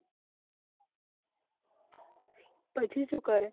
પછી શું કરે